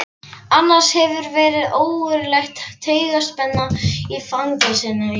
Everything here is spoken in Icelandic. Annars hefur verið ógurleg taugaspenna í fangelsinu í dag.